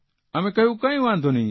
અમે કહ્યું કંઇ વાંધો નહીં